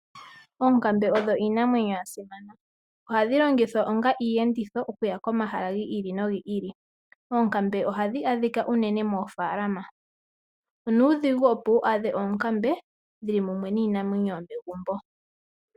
Oonkambe odho iinamwenyo ya simana. Ohadhi longithwa onga iiyenditho okuya pomahala ga yooloka. Oonkambe ohadhi adhika unene moofaalama. Onuudhigu wu adhe oonkambe dhili mumwe niinamwenyo yomegumbo.